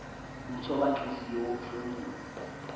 umthoba nhliziyo womhlomulo